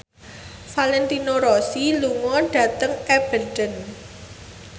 Valentino Rossi lunga dhateng Aberdeen